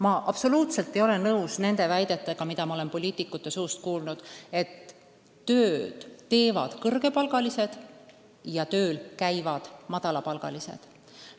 Ma absoluutselt ei ole nõus väitega, mida olen poliitikute suust kuulnud, et tööd teevad kõrgepalgalised ja tööl käivad madalapalgalised.